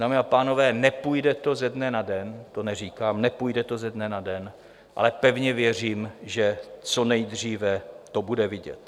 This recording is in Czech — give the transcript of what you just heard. Dámy a pánové, nepůjde to ze dne na den, to neříkám, nepůjde to ze dne na den, ale pevně věřím, že co nejdříve to bude vidět.